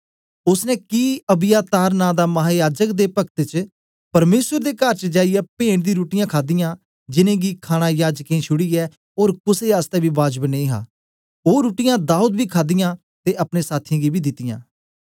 ओसने कि अबियातार नां दा महायाजक दे पक्त च परमेसर दे कर च जाईयै पेंट दी रुट्टीयाँ खादियां जिनेंगी खाणा याजकें गी छुड़ीयै ओर कुसे आसतै बी बाजब नेई हा ओ रुट्टीयाँ दाऊद बी खादियां ते अपने साथियें गी बी दितीयां